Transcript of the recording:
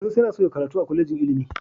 Sanusi yana so ya karatu a kwalejin ilimi.